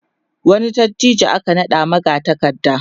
wani dattijo aka naɗa magatakarda